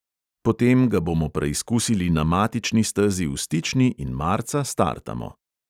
Potem ga bomo preizkusili na matični stezi v stični in marca startamo.